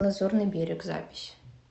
лазурный берег запись